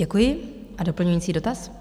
Děkuji a doplňující dotaz.